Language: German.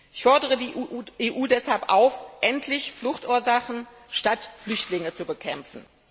Ich fordere die EU deshalb auf, endlich Fluchtursachen statt Flüchtlingen zu bekämpfen.